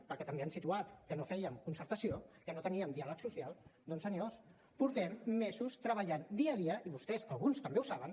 perquè també han situat que no fèiem concertació que no teníem diàleg social doncs senyors portem mesos treballant dia a dia i vostès alguns també ho saben